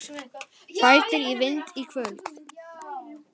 Bætir í vind í kvöld